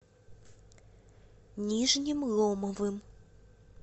нижним ломовым